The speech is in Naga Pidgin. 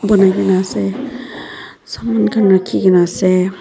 bonai na ase saman khan rakhina ase.